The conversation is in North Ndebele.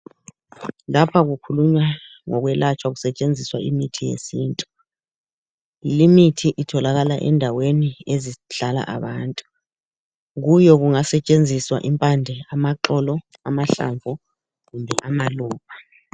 Lapha kukhulunywa ngemithi esetshenziswa ukulapha abantu etholakala ezindaweni ezihlala abantu, kungasetshenziswa amahlamnvu, impande kumbe amaxolo.